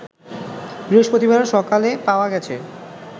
বৃহস্পতিবার সকালে পাওয়া গেছে